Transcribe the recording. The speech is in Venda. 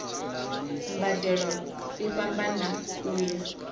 mbadelo i fhambana u ya